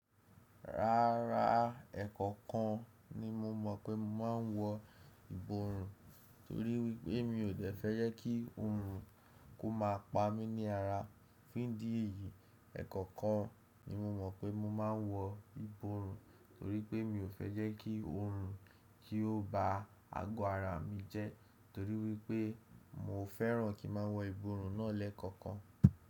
Rárá, ẹ̀kọ̀kan ni mo mọ̀ pé mo máa ń wọ ìborùn toríwi pé mi ò fẹ́ jẹ́ kí oorun kó máa pa mí ní ara. Fún ìdí èyí, ẹ̀kọ̀kan ni mo mọ̀ pé mo máa ń wọ ìborùn torí pé mi ò fẹ́ jẹ́ kí oorun kí ó ba ago ara mi jẹ́ torí wípé mi ò fẹ́ràn kí n má wọ ìborùn náà lẹ́ẹ̀ kọ̀kan.